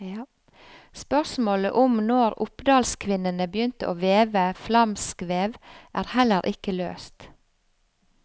Spørsmålet om når oppdalskvinnene begynte å veve flamskvev, er heller ikke løst.